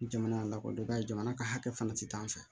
Jamana lakodɔn i b'a ye jamana ka hakɛ fana ti taa an fɛ